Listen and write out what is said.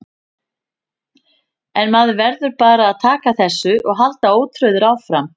En maður verður bara að taka þessu og halda ótrauður áfram.